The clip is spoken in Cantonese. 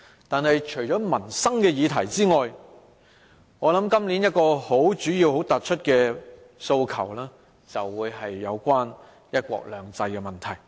但是，除民生議題外，今年主要的訴求是有關"一國兩制"的問題。